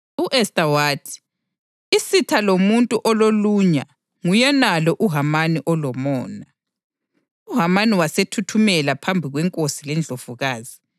U-Esta wathi, “Isitha lomuntu ololunya nguyenalo uHamani olomona.” UHamani wasethuthumela phambi kwenkosi lendlovukazi.